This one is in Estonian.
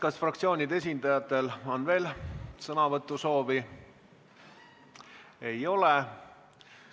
Kas fraktsioonide esindajatel on veel sõnavõtusoovi?